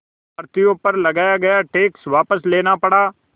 भारतीयों पर लगाया गया टैक्स वापस लेना पड़ा